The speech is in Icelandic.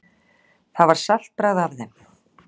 Það var saltbragð af þeim.